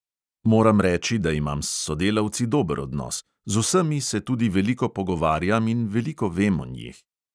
Moram reči, da imam s sodelavci dober odnos, z vsemi se tudi veliko pogovarjam in veliko vem o njih.